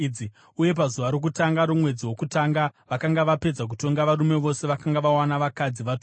uye pazuva rokutanga romwedzi wokutanga vakanga vapedza kutonga varume vose vakanga vawana vakadzi vatorwa.